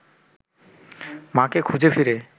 মাকে খুঁজে ফিরে